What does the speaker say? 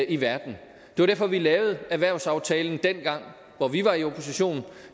i verden det var derfor vi lavede erhvervsaftalen dengang hvor vi var i opposition